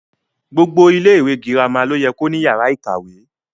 Gbogbo ilẹ ìwé girama lo yẹ ko ní yàrá ìkàwé.